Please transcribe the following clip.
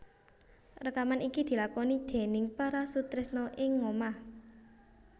Rekaman iki dilakoni déning para sutresna ing ngomah